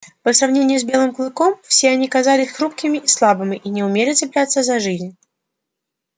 по сравнению с белым клыком все они казались хрупкими и слабыми и не умели цепляться за жизнь